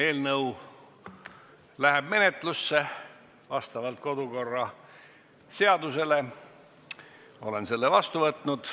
Eelnõu läheb menetlusse vastavalt kodukorraseadusele, olen selle vastu võtnud.